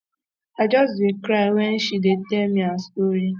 i just dey cry wen she um dey tell me her story